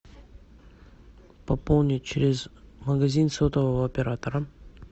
пополнить через магазин сотового оператора